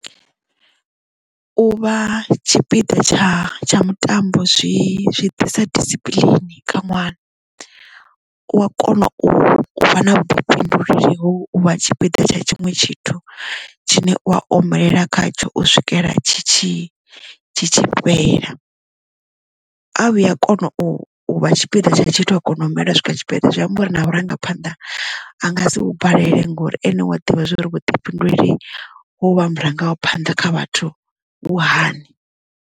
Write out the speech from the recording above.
U vha tshipiḓa tsha tsha mutambo zwi zwi ḓisa disipiḽini kha ṅwana u a kona u vha na vhuḓifhinduleli ha u vha tshipiḓa tsha tshiṅwe tshithu tshine u a omelela khatsho u swikela tshi tshi tshi fhela a vhuya a kona u vha tshipiḓa tsha tshithu a kona u omelela u swika tshipiḓa zwi amba uri na vhurangaphanḓa a nga si vhu balelwe ngori ane wa ḓivha zwori vhuḓifhinduleli ha u vha murangaphanḓa kha vhathu vhu hani.